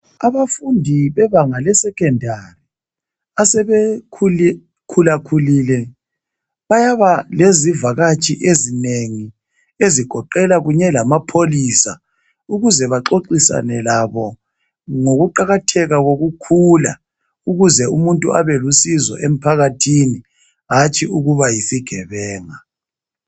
Abafundi bebanga le"secondary " asebekhula khulile bayaba lezivakatshi ezinengi ezigoqela kunye lamapholisa ukuze baxoxisane labo ngokuqakatheka kokukhula ukuze umuntu abelusizo emphakathini hatshi ukuba yisigebenga.